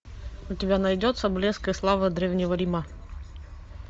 у тебя найдется блеск и слава древнего рима